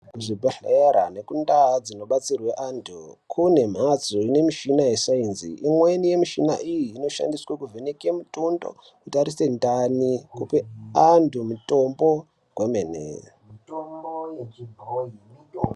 Zvibhedhlera nekundau dzinobatsirwa antu kune mhatso dzine michina yesaizni imweni yemichini iyi inoshandiswa kuvheneka mutundo, kutarisa ndani kupe antu mitombo kwemene.